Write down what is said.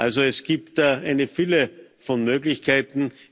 Also es gibt da eine Fülle von Möglichkeiten.